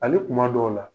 Hali kuma dɔw la